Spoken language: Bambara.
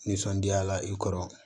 Nisɔndiyala i kɔrɔ